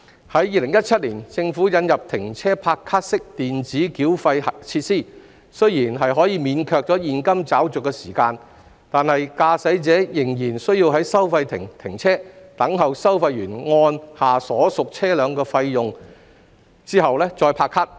在2017年，政府引入"停車拍卡"式電子繳費設施，雖然可免卻現金找續的時間，但駕駛者仍然需要在收費亭停車，等候收費員按下所屬車輛的費用後再拍卡。